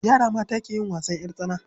Yara mata ke yin wasan ƴar tsana.